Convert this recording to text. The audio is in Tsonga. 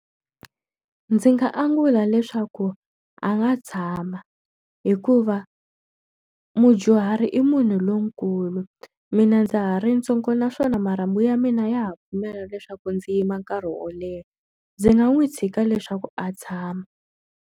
Ndzi nga angula leswaku a nga tshama. Hikuva mudyuhari i munhu lonkulu, mina ndza ha ri ntsongo naswona marhambu ya mina ya ha pfumela leswaku ndzi yima nkarhi wo leha. Ndzi nga n'wi tshika leswaku a tshama.